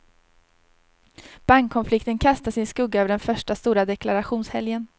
Bankkonflikten kastar sin skugga över den första stora deklarationshelgen.